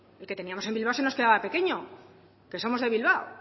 el que teníamos en bilbao se nos quedaba pequeño que somos de bilbao